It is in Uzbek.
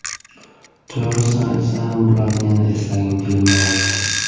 To‘g‘risini aytsam bularni yana eslagim kelmayapti.